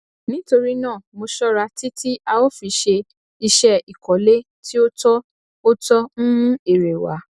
nítorí náà mo ṣọra títí a ó fi ṣe iṣẹ ìkọlé tí ó tọ ó tọ ń mú èrè wá